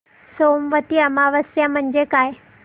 सोमवती अमावस्या म्हणजे काय